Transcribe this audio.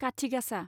काथि गासा